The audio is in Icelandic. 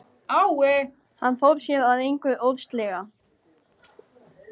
Hann fór sér að engu óðslega.